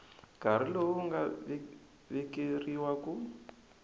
nkarhi lowu nga vekeriwa ku